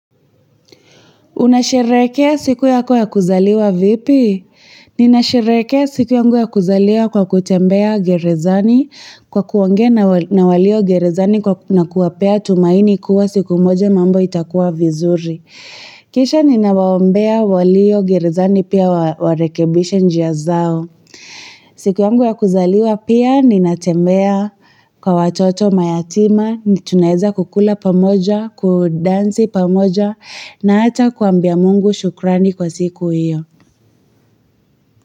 Unasherehekea siku yako ya kuzaliwa vipi? Ninasherehekea siku ya kuzaliwa kwa kutembea gerezani kwa kuongea na walio gerezani na kuwapea tumaini kuwa siku moja mambo itakuwa vizuri. Kisha ninawaombea walio gerezani pia warekebisha njia zao. Siku yangu ya kuzaliwa pia ninatembea kwa watoto mayatima tunaeza kukula pamoja, kudansi pamoja na hata kuambia Mungu shukrani kwa siku hiyo.